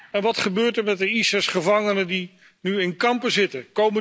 En wat gebeurt er met de ISIS gevangenen die nu in kampen zitten?